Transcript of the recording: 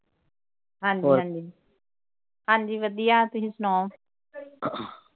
ਹਾਂਜੀ ਹਾਂਜੀ ਹਾਂਜੀ ਵਧੀਆ ਤੁਸੀਂ ਸੁਣਾਓ। ਅਰ